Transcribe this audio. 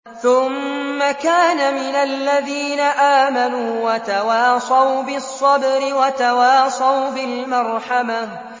ثُمَّ كَانَ مِنَ الَّذِينَ آمَنُوا وَتَوَاصَوْا بِالصَّبْرِ وَتَوَاصَوْا بِالْمَرْحَمَةِ